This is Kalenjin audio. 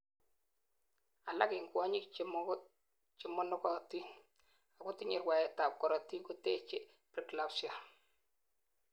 alak en kwonyik chemonogotin ako tinyei rwaet ab korotik kotechei preeclampsia